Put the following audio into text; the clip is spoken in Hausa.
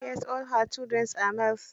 Yes all her children are males.